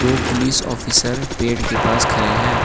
दो police officer पेड़ के पास खरे है।